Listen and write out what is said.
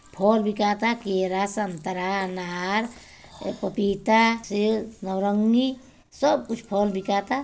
फल बिकाता केला संतरा अनार पपीता सेब नारंगी सब कुछ फल बिकता |